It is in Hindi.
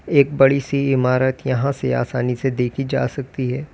एक बड़ी सी इमारत यहां से आसानी से देखी जा सकती है।